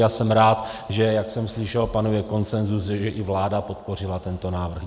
Já jsem rád, že - jak jsem slyšel - panuje konsenzus, že i vláda podpořila tento návrh.